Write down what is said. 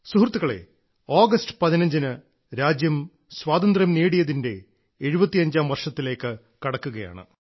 സുഹൃത്തുക്കളെ ആഗസ്റ്റ് 15ന് രാജ്യം സ്വാതന്ത്ര്യം നേടിയതിന്റെ 75ാം വർഷത്തിലേക്ക് കടക്കുകയാണ്